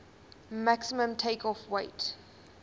maximum takeoff weight